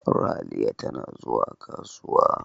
Ralia tana zuwa kasuwa.